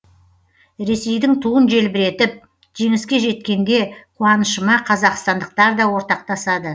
ресейдің туын желбіретіп жеңіске жеткенде қуанышыма қазақстандықтар да ортақтасады